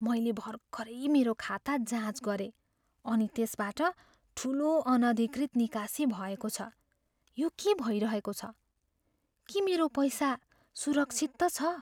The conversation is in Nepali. मैले भर्खरै मेरो खाता जाँच गरेँ अनि त्यसबाट ठुलो, अनधिकृत निकासी भएको छ। यो के भइरहेको छ? के मेरो पैसा सुरक्षित त छ?